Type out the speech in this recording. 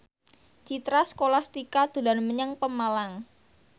Citra Scholastika dolan menyang Pemalang